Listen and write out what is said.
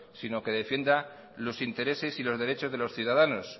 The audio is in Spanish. sino que defienda los intereses y los derechos de los ciudadanos